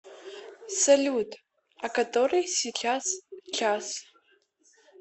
салют а который сейчас час